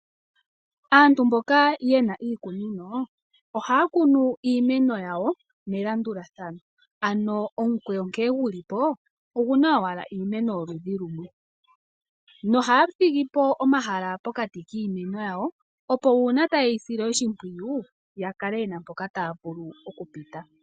Aantu mboka yena iikunino ohaya kunu iimeno yili melandulathano, ano omukwewo nkee guli po ogu na ashike iimeno yoludhi lumwe, nohaya thigi po omahala pokati kiimeno yawo opo uuna taye yi sile oshimpwiyu yakale yena mpoka taya vulu oku pita.